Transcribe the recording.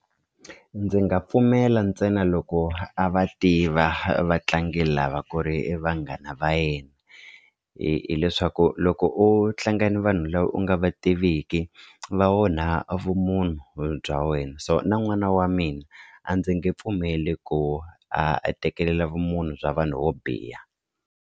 Ndzi nga pfumela ntsena loko a va tiva vatlangi lava ku ri vanghana va yena hi hileswaku loko u tlanga na vanhu lava u nga nga va tiviki va onha vumunhu bya wena so na n'wana wa mina a ndzi nge pfumeli ku a tekelela vumunhu bya vanhu vo biha.